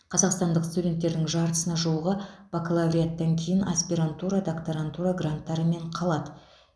қазақстандық студенттердің жартысына жуығы бакалавриаттан кейін аспирантура докторантура гранттарымен қалады